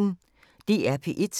DR P1